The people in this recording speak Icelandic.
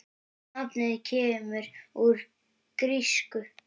Nafnið kemur úr grísku